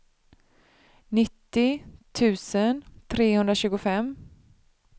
nittio tusen trehundratjugofem